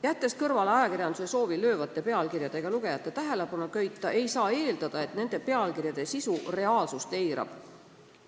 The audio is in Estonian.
Jättes kõrvale ajakirjanduse soovi löövate pealkirjadega lugejate tähelepanu köita, ei saa eeldada, et nende pealkirjade sisu reaalsust eirab.